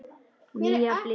Nýja bliku.